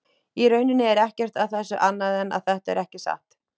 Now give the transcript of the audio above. Í rauninni er ekkert að þessu annað en að þetta er ekki satt.